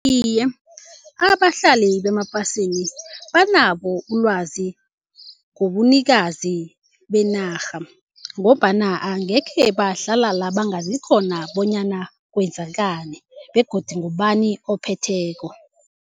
Aye, abahlali bemaplasini banabo ulwazi ngobunikazi benarha ngombana angekhe bahlala la bangazi khona bonyana kwenzakani begodu ngubani ophetheko.